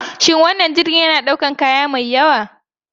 Shin wannan jirgin yana ɗaukar kaya mai yawa?